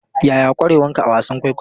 Yaya ƙwarewanka a wasan kwaikwayo?